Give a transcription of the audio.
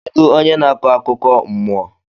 Kedụ onye na-akọ akụkọ mmụọ?